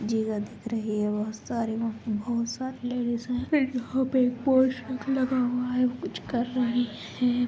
जी हां दिख रहीं हैं बहुत सारी बहुत सारी लेडीस हैं यहाँ पर बहुत पोस्टर लगा हुआ हैं कुछ कर रहे हैं।